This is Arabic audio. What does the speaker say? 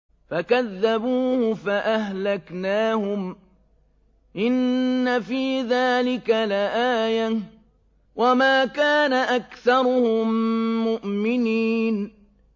فَكَذَّبُوهُ فَأَهْلَكْنَاهُمْ ۗ إِنَّ فِي ذَٰلِكَ لَآيَةً ۖ وَمَا كَانَ أَكْثَرُهُم مُّؤْمِنِينَ